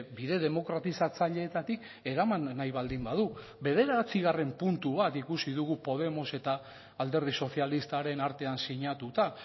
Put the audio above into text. bide demokratizatzaileetatik eraman nahi baldin badu bederatzigarren puntu bat ikusi dugu podemos eta alderdi sozialistaren artean sinatuta